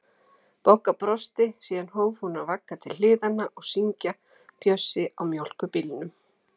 Bogga brosti, síðan hóf hún að vagga til hliðanna og syngja Bjössi á mjólkurbílnum